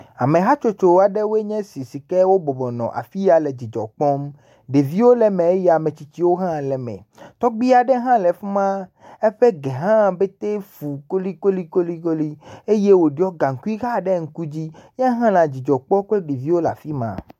Ame hatsotso aɖewoe nye si si ke wobɔbɔ nɔ afi ya le dzidzɔ kpɔm. Ɖeviwo le me eye ame tsitsiwo hã le eme. Tɔgbui aɖe hã le fi ma eƒe gɛ hã petɛ fu kolikoli eye woɖɔ gaŋkui hã ɖe ŋku dzi. Yehã le adzidzɔ kpɔm kple ɖeviwo la afi ma.